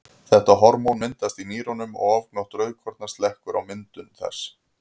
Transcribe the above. Þetta hormón myndast í nýrunum og ofgnótt rauðkorna slekkur á myndun þess.